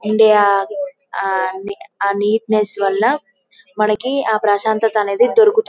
India ఆ neatness వల్ల మనకి ఆ ప్రశాంతత అనేది దొరకుతుంది .